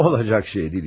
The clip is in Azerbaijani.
Olacaq şey deyil.